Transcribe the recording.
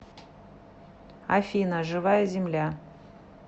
афина живая земля